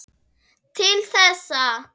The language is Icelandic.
Til þessa.